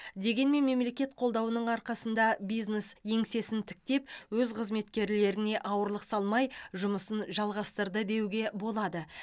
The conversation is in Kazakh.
дегенмен мемлекет қолдауының арқасында бизнес еңсесін тіктеп өз қызметкерлеріне ауырлық салмай жұмысын жалғастырды деуге болады